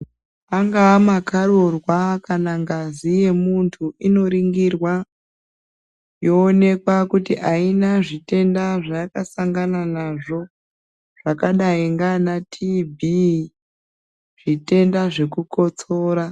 Angaa makarurwa kana ngazi yemuntu inoringirwa yoonekwa kuti aina zvitenda zvayakasangana nazvo zvakadai ngeana tiibhii zvitenda zvekukotsora.